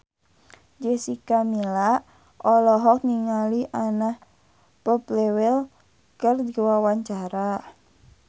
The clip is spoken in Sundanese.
Jessica Milla olohok ningali Anna Popplewell keur diwawancara